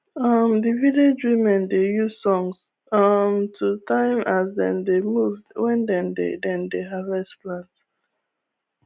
um the village women dey use songs um to time as dem dey move when dem dey dem dey harvest plant